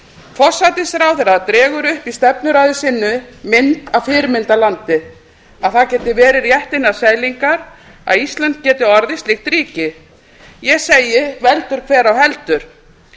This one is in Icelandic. forsætisráðherra dregur upp í stefnuræðu sinni mynd af fyrirmyndarlandi að það geti verið rétt innan seilingar að ísland geti orðið slíkt ríki ég segi veldur hver á heldur